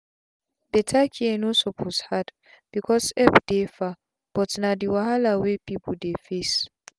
beta care no suppose hard becos epp dey far but na d wahala wey pipu dey face